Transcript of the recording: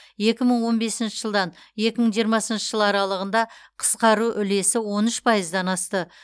екі мың он бесінші жылдан екі мың жиырмасыншы жыл аралығында қысқару үлесі он үш пайыздан асты